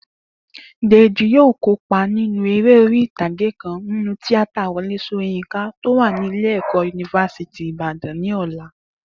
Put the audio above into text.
Dèjì yóò kópa nínú eré orí ìtàgé kan nínú tíátà Wo̩lé S̩óyínká tó wà ní ilé-ẹ̀kọ́ yunifásítì Ìbàdàn ní ò̩la